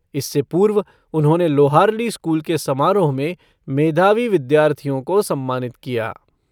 इससे पूर्व, उन्होंने लोहारली स्कूल के समारोह में मेधावी विद्यार्थियों को सम्मानित किया।